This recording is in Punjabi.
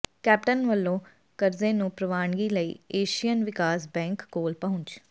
ਕੈਪਟਨ ਵੱਲੋਂ ਕਰਜ਼ੇ ਨੂੰ ਪ੍ਰਵਾਨਗੀ ਲਈ ਏਸ਼ੀਅਨ ਵਿਕਾਸ ਬੈਂਕ ਕੋਲ ਪਹੁੰਚ